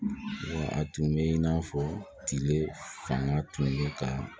A tun bɛ in n'a fɔ tile fanga tun bɛ ka